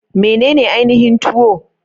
Menene ainihin Tuwo?